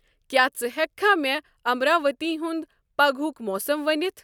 کیا ژٕ ہیکِہ کھہ مے امراوتی ہُند پگہۭوک موسم ؤنِتھ ؟